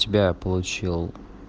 тебя я получил